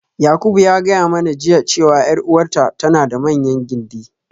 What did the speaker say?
Yakubu ya gaya mana jiya cewa 'yar uwarta tana da manyan gindi.